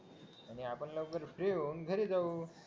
आणि आपण लवकर जेवून घरी जाऊ